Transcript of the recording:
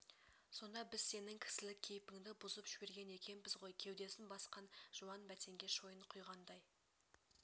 сонда біз сенің кісілік кейіпіңді бұзып жіберген екенбіз ғой кеудесін басқан жуан бәтеңке шойын құйғандай